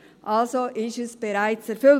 Also ist Punkt 1 bereits erfüllt.